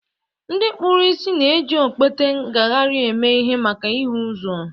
Ndị kpuru ìsì na-eji okpete ngagharị eme ihe maka ịhụ ụzọ